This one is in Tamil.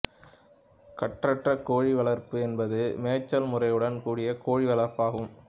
கட்டற்ற கோழி வளர்ப்பு என்பது மேச்சல் முறையுடன் கூடிய கோழி வளர்ப்பாகும்